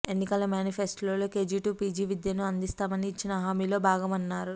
ఎన్నికల మేనిఫెస్టోలో KG to PG విద్యను అందిస్తామని ఇచ్చిన హామీలో భాగమన్నారు